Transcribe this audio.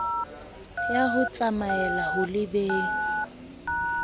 ya ho tsamaela ho lebeng